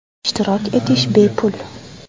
Ishtirok etish bepul.